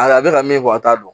A a bɛ ka min fɔ a t'a dɔn